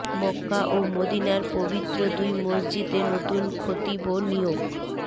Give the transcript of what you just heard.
মক্কা ও মদীনার পবিত্র দুই মসজিদে নতুন খতিব নিয়োগ